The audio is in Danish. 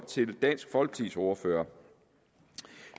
til dansk folkepartis ordfører